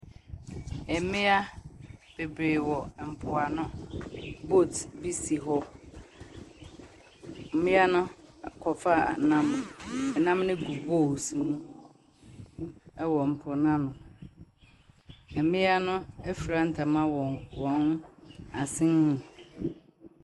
Mmea bebree wɔ mpoano. Boat bi si hɔ. Mmea no a kɔfaa nam. Nam no gu bowls mu wɔ mpo no ano. Mmea no afira ntama wɔ wɔn asene mu.